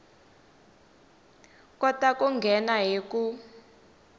kota ku nghena hi ku